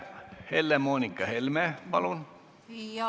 Helle-Moonika Helme, palun!